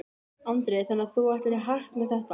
Andri: Þannig að þú ætlar í hart með þetta?